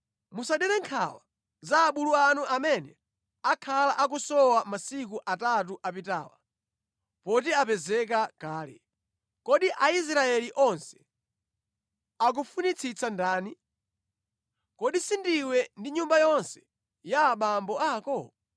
Musadere nkhawa za abulu anu amene akhala akusowa masiku atatu apitawa, poti apezeka kale. Kodi Aisraeli onse akufunitsitsa ndani? Kodi si ndiwe ndi nyumba yonse ya abambo ako?”